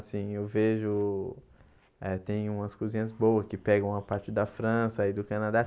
Assim, eu vejo... eh tem umas cozinhas boas que pegam a parte da França e do Canadá.